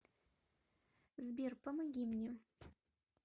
сбер помоги мне